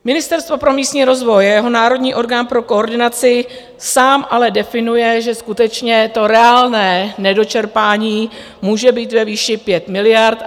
Ministerstvo pro místní rozvoj a jeho národní orgán pro koordinaci samy ale definují, že skutečně to reálné nedočerpání může být ve výši 5 miliard.